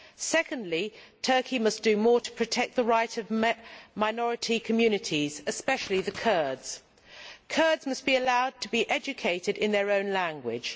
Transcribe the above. Secondly, Turkey must do more to protect the rights of minority communities, especially the Kurds. Kurds must be allowed to be educated in their own language.